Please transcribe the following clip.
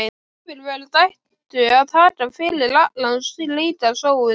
Yfirvöld ættu að taka fyrir alla slíka sóun.